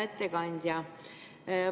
Hea ettekandja!